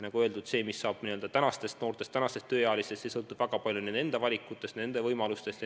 Nagu öeldud, see, mis saab tänastest noortest, tänastest tööealistest, see sõltub väga palju nende enda valikutest, nende võimalustest.